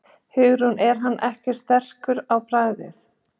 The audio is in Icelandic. Hugrún: Er hann ekkert sterkur á bragðið?